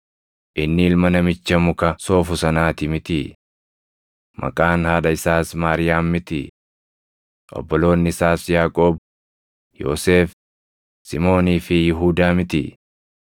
Inni ilma namicha muka soofu sanaati mitii? Maqaan haadha isaas Maariyaam mitii? Obboloonni isaas Yaaqoob, Yoosef, Simoonii fi Yihuudaa mitii?